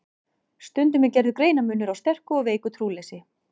Stundum er gerður greinarmunur á sterku og veiku trúleysi.